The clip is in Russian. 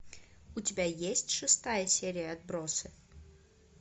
у тебя есть шестая серия отбросы